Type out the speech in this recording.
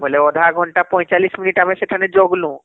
ବୋଇଲେ ଅଧା ଘଣ୍ଟା ୪୫ minute ଆମେ ସେଠାନେ ଜଗଲୁ